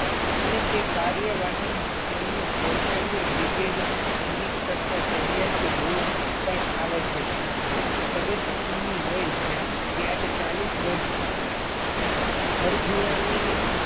અને તે કાર્યવાહીમાં તેમનું કૌશલ્ય બ્રિગેડના સૈનિક કરતા ચઢિયાતું હોવું પણ અવશ્યક સદતસિંહ ની વય ત્યારે ચાલીસ વર્ષ હતી. ભર જુવાનીનુ